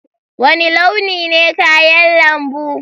Wani launi ne kayan lambu?